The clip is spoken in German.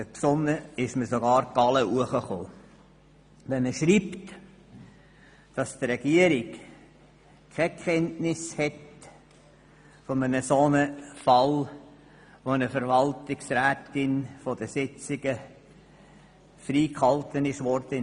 Mir stösst die Galle auf, wenn man schreibt, dass die Regierung keine Kenntnis von einem Fall habe, wo eine Verwaltungsrätin mittels E-Mail von den Sitzungen freigestellt wurde.